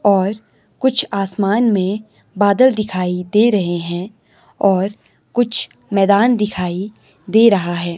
और कुछ आसमान में बादल दिखाई दे रहे हैं और कुछ मैदान दिखाई दे रहा है।